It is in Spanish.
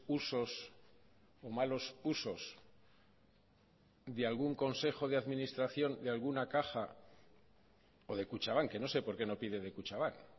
usos o malos usos de algún consejo de administración de alguna caja o de kutxabank que no sé por qué no pide de kutxabank